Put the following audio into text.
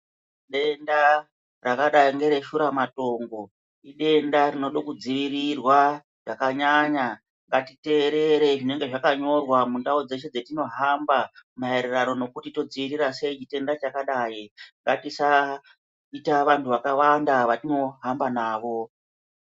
Denda rakadai ngereshura matongo idenda rinoda kudzivirirwa zvakanyanya ngatiteerere zvinenge zvakanyorwa mundau dzeshe dzetinohamba maererano nekutibtadziirira sei chitenda chakadai, ngatisaita vanhu vakawanda vatinohamba navo.